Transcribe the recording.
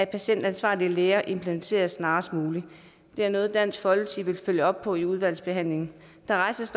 patientansvarlige læger implementeres snarest muligt det er noget dansk folkeparti vil følge op på i udvalgsbehandlingen der rejses